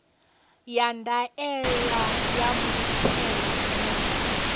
ya ndaela ya muthelo ndi